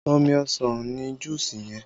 Omi ọsàn ni juusi yẹn